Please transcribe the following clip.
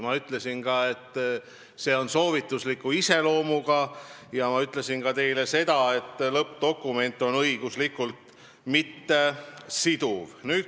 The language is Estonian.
Ma ütlesin ka, et see dokument on soovitusliku iseloomuga, ja ütlesin teile ka seda, et lõppdokument ei ole meile õiguslikult siduv.